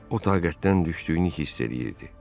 O taqətdən düşdüyünü hiss eləyirdi.